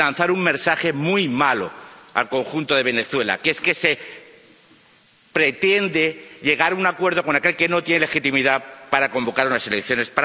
Lanzar un mensaje muy malo al conjunto de Venezuela que se pretende llegar a un acuerdo con aquel que no tiene legitimidad para convocar unas elecciones.